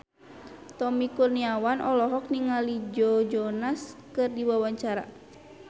Tommy Kurniawan olohok ningali Joe Jonas keur diwawancara